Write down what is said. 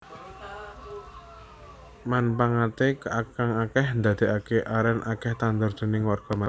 Manpangaté kang akèh ndadékaké arèn akèh ditandur déning warga masyarakat